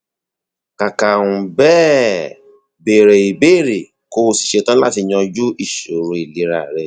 kàkà um bẹẹ béèrè ìbéèrè kó o sì ṣe tán láti yanjú ìṣòro ìlera rẹ